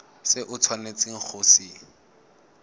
se o tshwanetseng go se